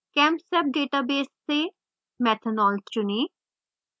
chemsep database से methanol चुनें